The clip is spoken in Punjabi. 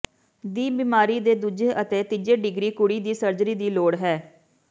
ਦੀ ਬਿਮਾਰੀ ਦੇ ਦੂਜੇ ਅਤੇ ਤੀਜੇ ਡਿਗਰੀ ਕੁੜੀ ਦੀ ਸਰਜਰੀ ਦੀ ਲੋੜ ਹੈ